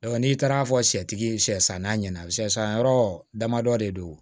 n'i taara fɔ sɛtigi ye shɛ sannan ɲɛna sɛ san yɔrɔ damadɔ de don